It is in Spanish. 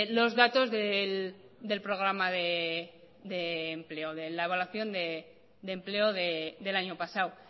los datos del programa de empleo de la evaluación de empleo del año pasado